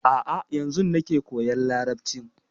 A'a yanzun nake koyan Larabci.